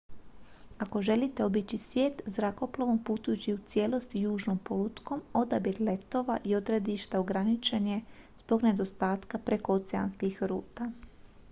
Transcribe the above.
ako želite obići svijet zrakoplovom putujući u cijelosti južnom polutkom odabir letova i odredišta ograničen je zbog nedostatka prekooceanskih ruta